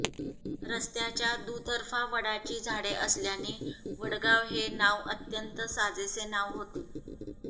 रस्त्याच्या दुरर्फा वडाची झाडे असल्याने वडगाव हे नाव अत्यंत साजेसे नाव होते